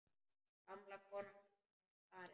Gamla konan er farin.